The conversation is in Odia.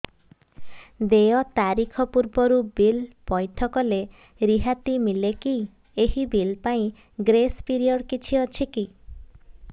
ଦେୟ ତାରିଖ ପୂର୍ବରୁ ବିଲ୍ ପୈଠ କଲେ ରିହାତି ମିଲେକି ଏହି ବିଲ୍ ପାଇଁ ଗ୍ରେସ୍ ପିରିୟଡ଼ କିଛି ଅଛିକି